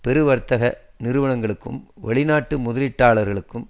பெருவர்த்தக நிறுவனங்களுக்கும் வெளிநாட்டு முதலீட்டாளர்களுக்கும்